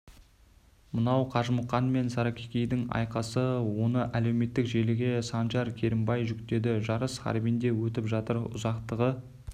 мынау қажымұқан мен саракикидің айқасы оны әлеуметтік желіге санжар керімбай жүктеді жарыс харбинде өтіп жатыр ұзақтығы